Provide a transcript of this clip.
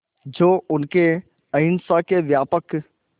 जो उनके अहिंसा के व्यापक